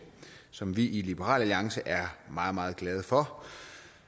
som vi i liberal alliance er meget meget glade for